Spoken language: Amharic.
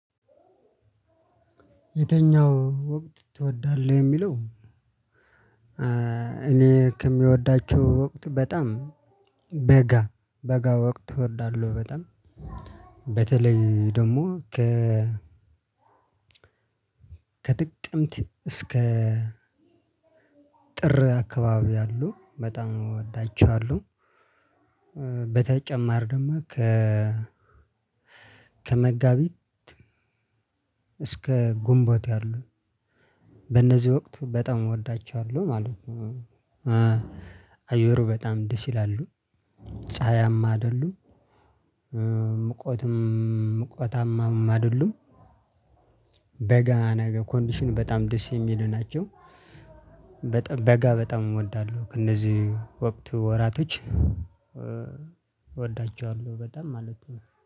የተኛው ወቅት ትወዳለህ የሚለው? እኔ ከሚወዳችሁ ወቅት በጣም በጋ በጋ ወቅት እወዳለሁ። በጣም በተለይ ደግሞ ከ ከጥቅምት እስከ ጥር አካባቢ ያሉ በጣም እወዳቸዋሉ። በተጨማር ደግሞ ከ ከመጋቢት እስከ ጉንቦት ያሉ በእነዚህ ወቅት በጣም እወዳቸዋለሁ ማለት ነው። አየሩ በጣም ደስ ይላሉ ፀሀያማ አይደሉም ምቆትም ምቆታማም አደሉም። በጋ ነገ ኮንዲሽን በጣም ደስ የሚሉ ናቸው። በጣም በጋ በጣም እወዳለሁ ከእነዚህ ወቅት ወራቶች እወዳቸዋለሁ በጣም ማለት ነው